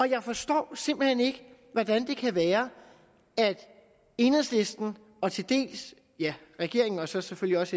jeg forstår simpelt hen ikke hvordan det kan være at enhedslisten og til dels regeringen og så selvfølgelig også